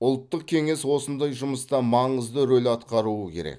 ұлттық кеңес осындай жұмыста маңызды рөл атқаруы керек